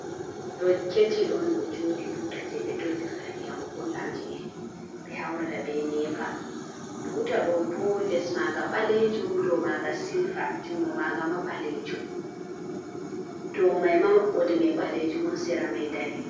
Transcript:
Ɗo ketil on ɗo jooɗi. Buta je be ɗollirta ndiyam gulɗam je be haurata be nepa. Buta ɗo bo les maga balejum ɗow maga silva. Jungo maga ma balejum. Ɗow mai ma mabboɗemai balejum on n sera mai ɗanejum.